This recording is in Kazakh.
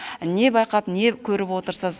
не байқап не көріп отырсыз